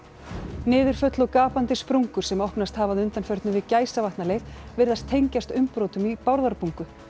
niðurföll og gapandi sprungur sem opnast hafa að undanförnu við Gæsavatnaleið virðast tengjast umbrotum í Bárðarbungu